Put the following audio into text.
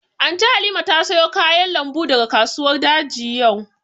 Anty Halima ta sayo kayan lambu daga kasuwar daji yau